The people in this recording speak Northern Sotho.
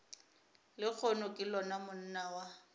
lehono ke lona monna wa